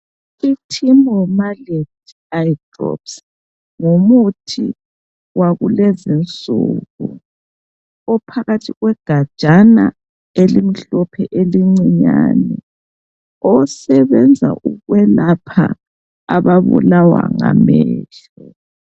I"Timolol Meleate eye drops " ngumuthi wakulezi nsuku ophakathi kwegajana elimhlophe elincinyane , osebenza ukwelapha ababulawa ngamehlo.